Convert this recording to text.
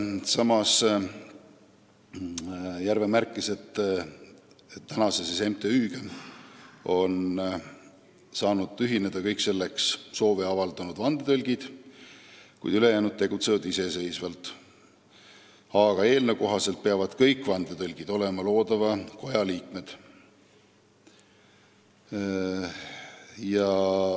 Samas märkis Järve, et praeguse MTÜ-ga on saanud ühineda kõik selleks soovi avaldanud vandetõlgid, ülejäänud tegutsevad iseseisvalt, aga eelnõu kohaselt peavad kõik vandetõlgid olema loodava koja liikmed.